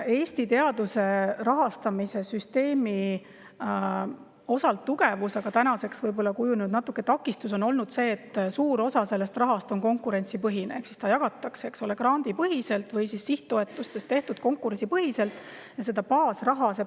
Eesti teaduse rahastamise süsteemi tugevus – tänaseks on see võib-olla kujunenud natuke takistuseks – on olnud see, et suur osa raha on konkurentsipõhine ehk seda jagatakse grandipõhiselt või on konkurentsipõhiselt tehtud sihttoetused.